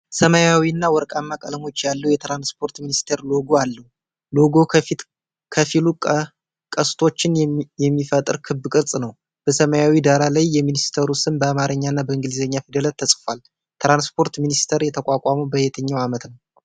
ሰማያዊና ወርቃማ ቀለሞች ያለው የትራንስፖርት ሚኒስቴር ሎጎ አለው። ሎጎው ከፊሉ ቀስቶችን የሚፈጥር ክብ ቅርጽ ነው። በሰማያዊው ዳራ ላይ የሚኒስቴሩ ስም በአማርኛና በኢንግሊዘኛ ፊደላት ተጽፏል። የትራንስፖርት ሚኒስቴር የተቋቋመው በየትኛው ዓመት ነው?